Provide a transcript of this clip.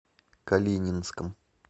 калининском